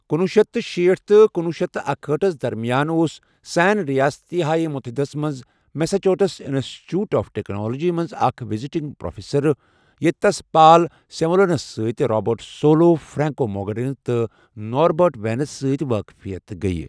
کُنۄہ شیتھ تہٕ شیٖٹھ تہٕ کُنوہ شیتھ تہٕ اکہاٹھس درمیان اوس سین ریاستہائے متحدہ ہس منز Massachusetts institute of technology منز اکھ وزٹنگ پروفیسر ، ییتہِ تس Paul Samuelson, Robert Solow, Franco Modigliani, اور نوربرٹ وینرس سۭتۍ واقفیت گٕیہ ۔